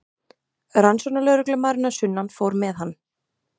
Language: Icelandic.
Rannsóknarlögreglumaðurinn að sunnan fór með hann.